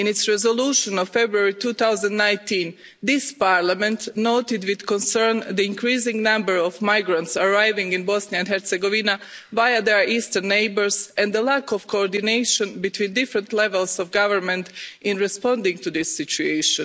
In its resolution of February 2019 this Parliament noted with concern the increasing number of migrants arriving in Bosnia and Herzegovina via their eastern neighbours, and the lack of coordination between different levels of government in responding to this situation.